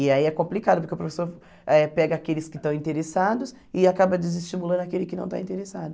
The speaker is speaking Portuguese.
E aí é complicado, porque o professor eh pega aqueles que estão interessados e acaba desestimulando aquele que não está interessado.